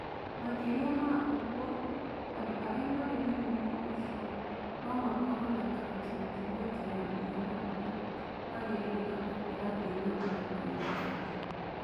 Makĩria ma ũguo, andũ arĩa marĩ na mũrimũ ũcio no makorũo na creatine kinase ya mũigana ũrĩa wagĩrĩire kana ĩrathiĩ na mbere kũingĩha.